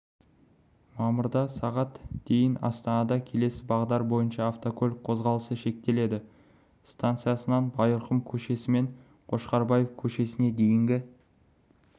мамырда сағат дейін астанада келесі бағдар бойынша автокөлік қозғалысы шектеледі станциясынан байырқұм көшесімен қошқарбаев көшесіне дейінгі